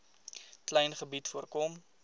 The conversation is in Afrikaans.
klein gebied voorkom